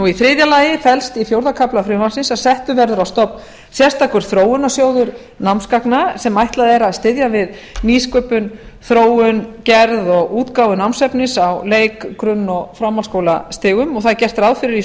í þriðja lagi felst í fjórða kafla frumvarpsins að settur verður á stofn sérstakur þróunarsjóður námsgagna sem ætlað er að styðja við nýsköpun og þróun gerð og útgáfu námsefnis á leik grunn og framhaldsskólastigum það er gert ráð fyrir í